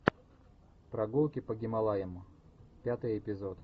прогулки по гималаям пятый эпизод